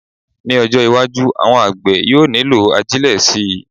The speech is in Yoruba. Ní ọjọ́-iwájú, àwọn àgbẹ̀ yóò nílò ajílẹ̀ síi.